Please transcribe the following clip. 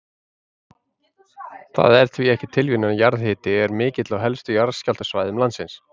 Það er því ekki tilviljun að jarðhiti er mikill á helstu jarðskjálftasvæðum landsins.